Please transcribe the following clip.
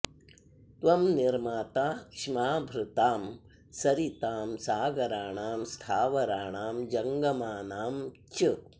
त्वं निर्माता क्ष्माभृतां सरितां सागराणां स्थावराणां जङ्गमानां च